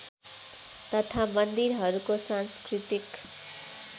तथा मन्दिरहरूको सांस्कृतिक